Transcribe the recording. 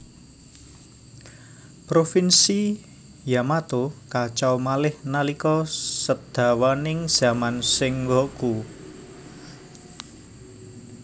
Provinsi Yamato kacau malih nalika sedawaning zaman Sengoku